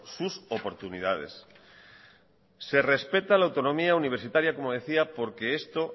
sus oportunidades se respeta la autonomía universitaria como decía porque esto